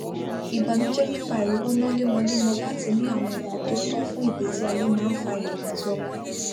ìbànújẹ nípa àìrowó ná lemọlemọ láti ní àwọn nǹkan tó tó fún ìgbésí ayé máa ń fa ìrẹwẹsì ọkàn